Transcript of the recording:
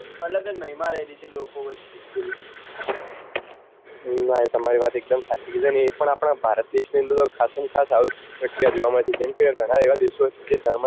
નાં એ તમારી વાત એક દમ સાચી ને એ પણ આપડા ભારત દેશ ની અંદર તો ખાસમ ખાસ આવી પ્રક્રિયા જોવા મળે છે જેમ કે એ ગણા એવા દેશો હોય છે જે ધર્મ